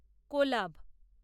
collab